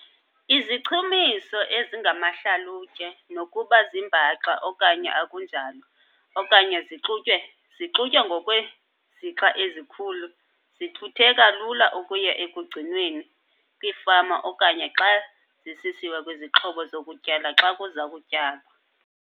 Izichumiso ezingamahlalutye nokuba zimbaxa okanye akunjalo okanye zixutywe ngokwezixa ezikhulu zithutheka lula ukuya ekugcinweni kwiifama okanye xa zisisiwa kwizixhobo zokutyala xa kuza kutyalwa.